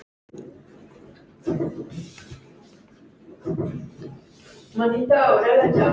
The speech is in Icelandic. Hún rýkur upp.